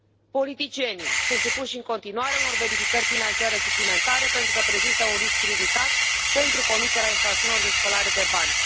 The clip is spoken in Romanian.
Politicienii sunt supuși în continuare unor verificări financiare suplimentare, pentru că prezintă un risc ridicat pentru comiterea infracțiunilor de spălare de bani.